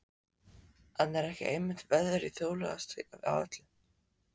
En er ekki einmitt veðrið þjóðlegast af öllu?